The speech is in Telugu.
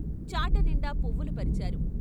చాటనిండా పువ్వులు పరిచారు.